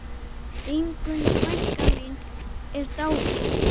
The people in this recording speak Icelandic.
Ingunn frænka mín er dáin.